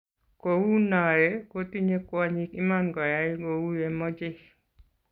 kou noee, ko tinyei kwonyik iman koyai kou yemochei